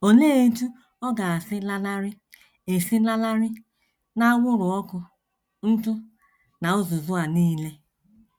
Olee otú ọ ga - esi lanarị - esi lanarị n’anwụrụ ọkụ, ntụ, na uzuzu a nile?